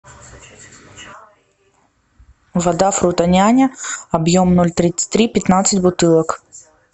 вода фрутоняня объем ноль тридцать три пятнадцать бутылок